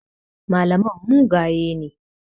Malaman mugaye ne.